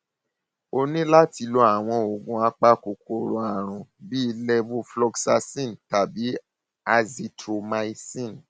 o ní láti lo àwọn oògùn apakòkòrò àrùn bíi levofloxacin tàbí azithromycin